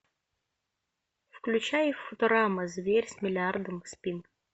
включай футурама зверь с миллиардом спин